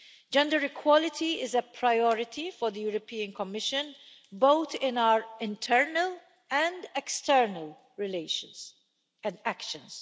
Gender equality is a priority for the European Commission, both in our internal and external relations and actions.